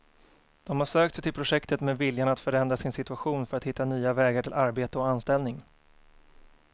De har sökt sig till projektet med viljan att förändra sin situation för att hitta nya vägar till arbete och anställning.